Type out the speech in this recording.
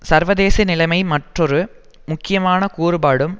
சர்வதேச நிலைமை மற்றொரு முக்கியமான கூறுபாடும்